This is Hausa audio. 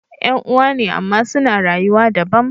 yan'uwa ne amma suna rayuwa dabam